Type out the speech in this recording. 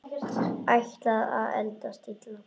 Ætlar að eldast illa.